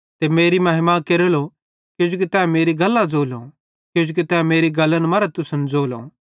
ते मेरी महिमा केरेली किजोकि तै मेरी गल्लां ज़ोली किजोकि तै मेरी गल्लन मरां तुसन सेइं ज़ोली